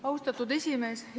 Austatud esimees!